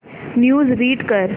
news read कर